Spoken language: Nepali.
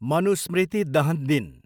मनुस्मृति दहन दिन